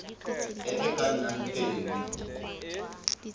e e ka nnang teng